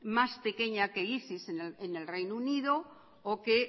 más pequeña que isis en el reino unido o que